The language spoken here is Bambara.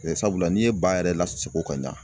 sabula n'i ye ba yɛrɛ lasogo ka ɲa.